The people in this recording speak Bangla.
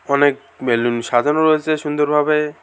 অনেক বেলুন সাজানো রয়েছে সুন্দরভাবে।